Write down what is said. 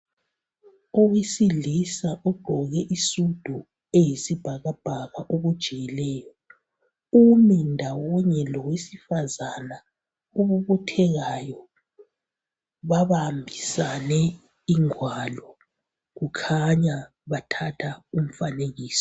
Owesilisa ogqoke isudu eyisibhakabhaka okujiyileyo umi ndawonye lowe sifazana obobothekayo babambisane ingwalo kukhanya bathatha umfanekiso.